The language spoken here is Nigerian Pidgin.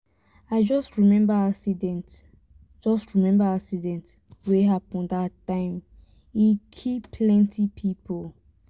i just remember accident just remember accident wey happen dat time e kill plenty people.